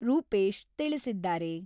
ರೂಪೇಶ್ ತಿಳಿಸಿದ್ದಾರೆ.